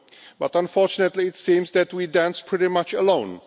But unfortunately, it seems that we are dancing pretty much alone.